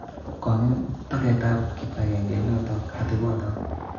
Kong'em toget ap kipakengeit notok atepotok